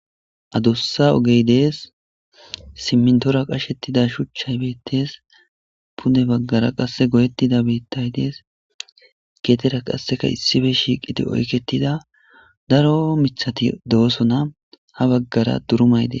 Adussa ogey dees simmintora qashettida shuchchay beettees pune baggara qasse goyettida beettay dees geetera qasseka issibe shiiqiti oyketida daro mithati doosona ha baggara durumay de.